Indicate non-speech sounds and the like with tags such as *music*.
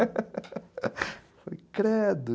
*laughs* Eu falei, credo.